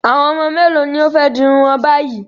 Àwọn ọmọ mélòó ni ó fẹ́ di irun wọn báyìí?